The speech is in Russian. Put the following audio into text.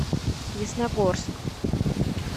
ясногорск